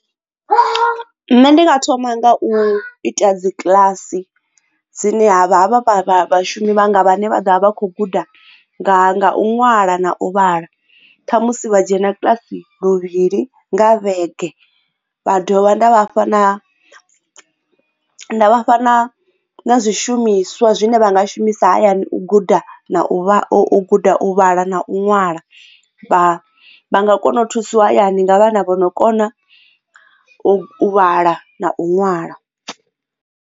Nṋe ndi nga thoma nga u ita dzi kiḽasi dzine ha vha vha vha vhashumi vha nga vhane vha ḓovha vha kho guda nga u ṅwala na u vhala khamusi vha dzhena kiḽasi luvhili nga vhege vha dovha nda vhafha na nda vhafha na zwishumiswa zwine vha nga shumisa hayani u guda na u guda u vhala na u ṅwala vha nga kona u thusiwa hayani nga vhana vho no kona u vhala na u ṅwala.